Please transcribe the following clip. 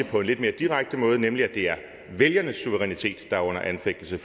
på en lidt mere direkte måde nemlig at det er vælgernes suverænitet der er under anfægtelse